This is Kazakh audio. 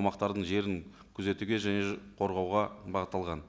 аумақтардың жерін күзетуге және қорғауға бағытталған